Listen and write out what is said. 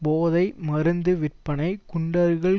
போதை மருந்து விற்பனை குண்டர்கள்